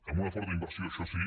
amb una forta inversió això sí